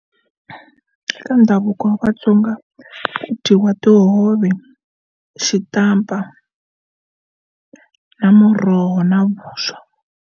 Ka ndhavuko wa vatsonga dyiwa tihove, xitampa na muroho na vuswa.